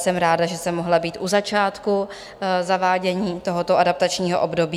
Jsem ráda, že jsem mohla být u začátku zavádění tohoto adaptačního období.